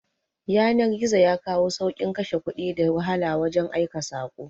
Yanar-gizo yakawo saukin Ƙashe Ƙudi da wahala wajan aika sako